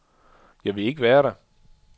Jeg ville ikke være der.